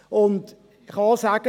Und ich kann auch sagen: